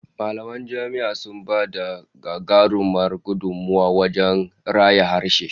Mallaman jami'a sun ba da gagarumar gudummuwa wajen raya harshe